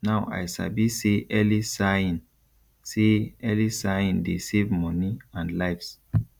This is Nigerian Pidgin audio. now i sabi say early sighing say early sighing dey save money and lives